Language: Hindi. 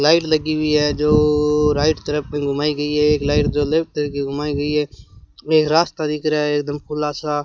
लाइट लगी हुई है जोओ राइट तरफ मे घुमाई गई है एक लाइट जो लेफ्ट त के घुमाई गई है एक रास्ता दिख रहा है एकदम खुला सा।